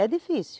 É difícil.